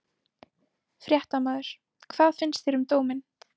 Fréttamaður: Hvað finnst þér um dóminn?